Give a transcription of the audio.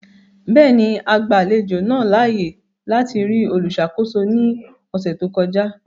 Bẹẹni, a gba alejo naa laaye lati ri oluṣakoso ni ọsẹ to kọja.